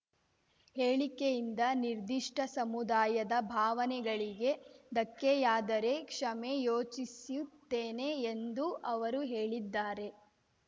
ಹೇಳಿಕೆಯಿಂದ ನಿರ್ದಿಷ್ಟಸಮುದಾಯದ ಭಾವನೆಗಳಿಗೆ ಧಕ್ಕೆಯಾದರೆ ಕ್ಷಮೆ ಯೋಚಿಸುತ್ತೇನೆ ಎಂದೂ ಅವರು ಹೇಳಿದ್ದಾರೆ